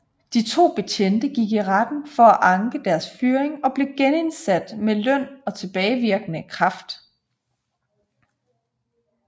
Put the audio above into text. De to betjente gik i retten for at anke deres fyring og blev genindsat med løn og tilbagevirkende kraft